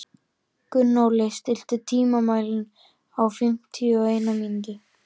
Gunnóli, stilltu tímamælinn á fimmtíu og eina mínútur.